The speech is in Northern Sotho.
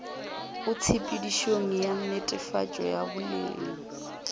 tshepedišong ya netefatšo ya boleng